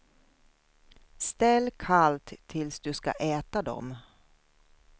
Ställ kallt tills du ska äta dem.